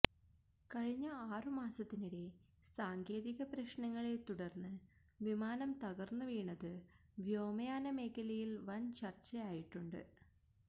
കഴിഞ്ഞ ആറു മാസത്തിനിടെ സാങ്കേതിക പ്രശ്നങ്ങളെ തുടർന്ന് വിമാനം തകർന്നുവീണത് വ്യോമയാന മേഖലയിൽ വൻ ചർച്ചയായിട്ടുണ്ട്